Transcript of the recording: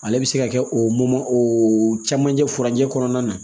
Ale bɛ se ka kɛ o o camancɛ furancɛ kɔnɔna na